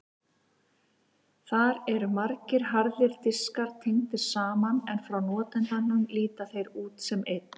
Þar eru margir harðir diskar tengdir saman en frá notandanum líta þeir út sem einn.